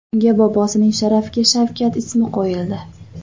Unga bobosining sharafiga Shavkat ismi qo‘yildi.